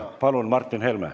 Palun, Martin Helme!